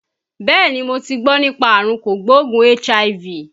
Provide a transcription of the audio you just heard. Bẹ́ẹ̀ni, mo ti gbọ́ nípa àrùn kò gbóògùn HIV